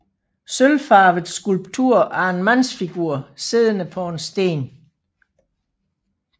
Sølvfarvet skulptur af en mandsfigur siddende på en sten